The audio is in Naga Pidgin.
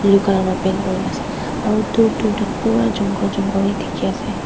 blue colour wa paint kurina ase aro dur dur tak pura jungle jungle he dikhiase.